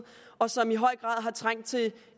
og som i høj grad har trængt til